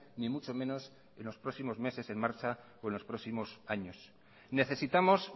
ni mucho menos en los próximos meses en marcha o en los próximos años necesitamos